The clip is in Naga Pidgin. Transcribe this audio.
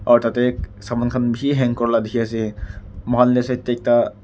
aru tateu saman khan bishi hang kurila dikhiase muihan leftside tey ekta.